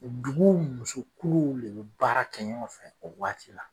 Duguw muso kuruw de be baara kɛ ɲɔgɔn fɛ o waati la